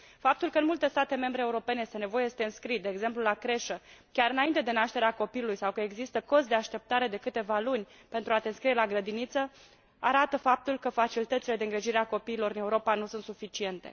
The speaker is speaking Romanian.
Faptul că, în multe state membre europene, este nevoie să te înscrii, de exemplu la creșă, chiar înainte de nașterea copilului, sau că există cozi de așteptare de câteva luni pentru a te înscrie la grădiniță, arată faptul că facilitățile de îngrijire a copiilor în Europa nu sunt suficiente.